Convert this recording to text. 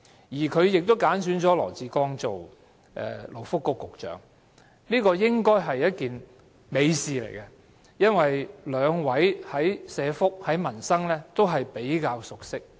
再者，她揀選了羅致光出任勞工及福利局局長，這應是一件美事，因兩位對社福和民生也較熟悉。